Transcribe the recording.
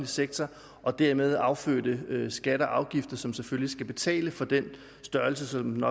sektor og dermed affødte skatter og afgifter som selvfølgelig skal betale for den størrelse som den